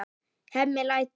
Hemmi lætur.